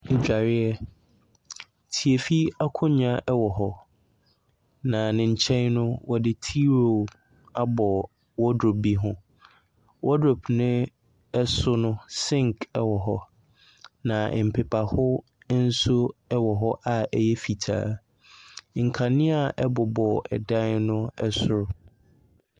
Adwareɛ, tiafi akonnwa wɔ hɔ, na ne nkyɛn no, wɔde T roll abɔ wardrobe bo ho. Wardrobe no so no sink wɔ hɔ, na mpepaho wɔ hɔ a ɛyɛ fitaa. Nkanea bobɔ dan no so.